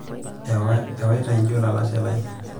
ewata ijo olalashe lai